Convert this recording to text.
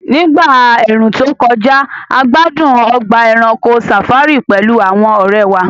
Ní ìgbà ẹ̀ẹ̀rùn tó kọjá, a gbádùn ọgbà ẹranko safari pẹ̀lú àwọn ọ̀rẹ́ wa